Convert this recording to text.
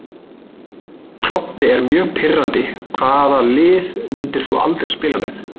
Klobbi er mjög pirrandi Hvaða liði myndir þú aldrei spila með?